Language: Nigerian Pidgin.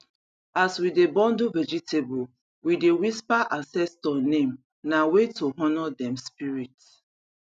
as we dey bundle vegetable we dey whisper ancestor name na way to honor dem spirit